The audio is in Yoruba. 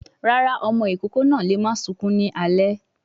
Rárá, ọmọ ìkókó náà lè máa sunkún ní alé.